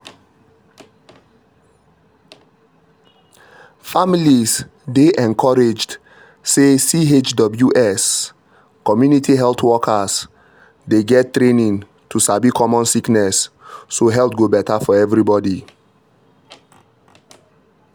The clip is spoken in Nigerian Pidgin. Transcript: families dey encouraged say chws (community health workers) dey get training to sabi common sickness so health go better for everybody.